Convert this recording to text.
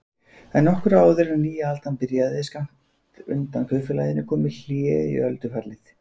En nokkru áður en nýja aldan byrjaði skammt undan kaupfélaginu kom hlé í öldufallið.